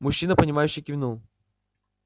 мужчина понимающе кивнул